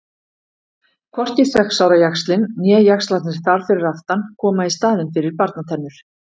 Hvorki sex ára jaxlinn né jaxlarnir þar fyrir aftan koma í staðinn fyrir barnatennur.